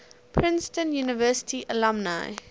princeton university alumni